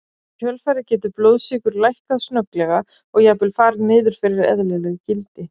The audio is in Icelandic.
Í kjölfarið getur blóðsykur lækkað snögglega og jafnvel farið niður fyrir eðlileg gildi.